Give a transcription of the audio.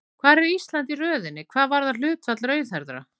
Hvar er Ísland í röðinni hvað varðar hlutfall rauðhærðra?